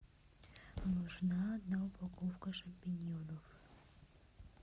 нужна одна упаковка шампиньонов